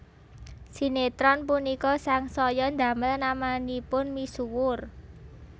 Sinétron punika sangsaya ndamel namanipun misuwur